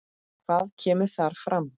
Hvað kemur þar fram?